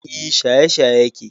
E, shaye-shaye yake.